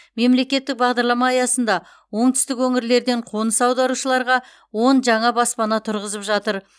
мемлекеттік бағдарлама аясында оңтүстік өңірлерден қоныс аударушыларға он жаңа баспана тұрғызып жатыр